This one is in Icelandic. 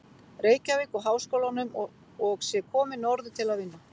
Reykjavík og Háskólanum og sé komin norður til að vinna.